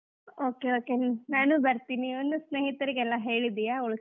Okay okay ನಾನು ಬರ್ತೀನಿ ಸ್ನೇಹಿತರಿಗೆಲ್ಲಾ ಹೇಳಿದೀಯಾ ?